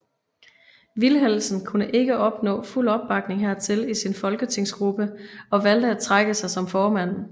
Vilhelmsen kunne ikke opnå fuld opbakning hertil i sin folketingsgruppe og valgte at trække sig som formand